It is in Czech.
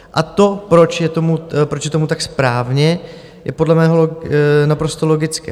A to, proč je tomu tak správně, je podle mého naprosto logické.